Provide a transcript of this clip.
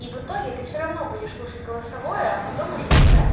и в итоге ты все равно будешь слушать голосовое а потом уже читать